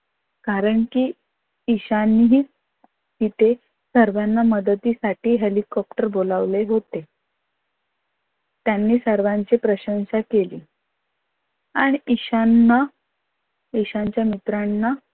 कारण कि ईशानीही तिथे सर्वांच्या मदतीसाठी हेलिकाप्टर बोलावले होते. त्यांनी सर्वांची प्रशंसा केली आणि ईशानना ईशानच्या मित्रांना